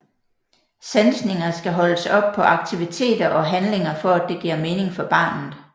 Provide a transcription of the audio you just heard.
Sansninger skal holdes op på aktiviteter og handlinger for at det giver mening for barnet